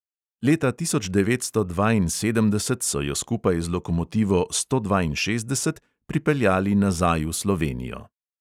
Leta tisoč devetsto dvainsedemdeset so jo skupaj z lokomotivo sto dvainšestdeset pripeljali nazaj v slovenijo.